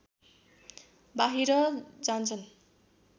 बाहिर जान्छन्